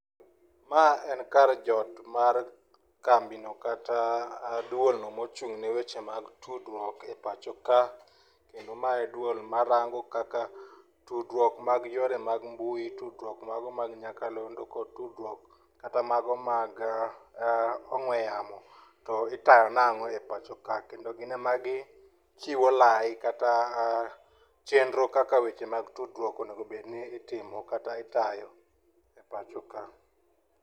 Ma en kar jot mar kambino kata duol no mochung'ne weche mag tudruok e pacho ka, kendo ma en duol marango kaka tudruok mag yore mag mbui, tudruok mago mag nyakalondo kod tudruok kata mago mag ong'we yamo to itayo nang'o e pachoka, kendo gin ema gichiwo lai kata chenro kaka weche mag tudruok onego obed ni itimo kata itayo e pachoka